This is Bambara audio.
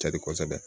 Cadi kosɛbɛ